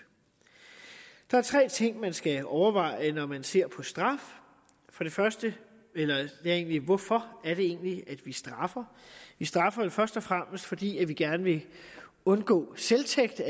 der er tre ting man skal overveje når man ser på straf for det første hvorfor er det egentlig vi straffer vi straffer jo først og fremmest fordi vi gerne vil undgå selvtægt